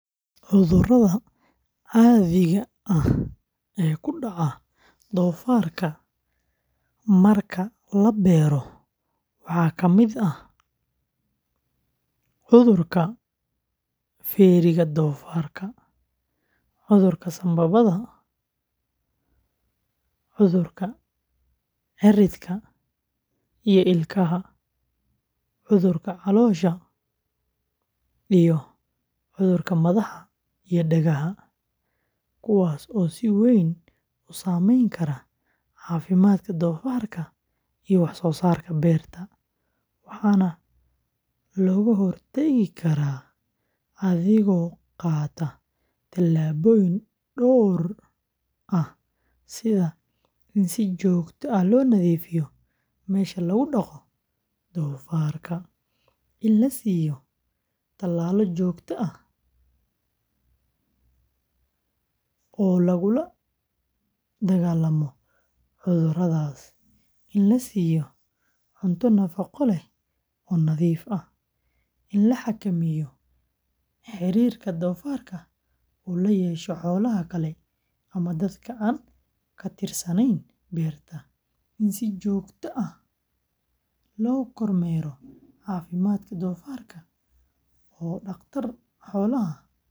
Cudurrada caadiga ah ee ku dhaca doofaarka marka la beero waxaa ka mid ah cudurka feeriga doofaarka, cudurka sambabada, cudurka cirridka iyo ilkaha, cudurka caloosha, iyo cudurka madaxa iyo dhagaha, kuwaas oo si weyn u saameyn kara caafimaadka doofaarka iyo wax-soosaarka beerta, waxaana laga hortagi karaa adigoo qaata tallaabooyin dhowr ah sida in si joogto ah loo nadiifiyo meesha lagu dhaqo doofaarka, in la siiyo talaalo joogto ah oo lagula dagaallamo cudurradaas, in la siiyo cunto nafaqo leh oo nadiif ah, in la xakameeyo xiriirka doofaarka uu la yeesho xoolaha kale ama dadka aan ka tirsanayn beerta, in si joogto ah loo kormeero caafimaadka doofaarka oo dhaqtar xoolaad.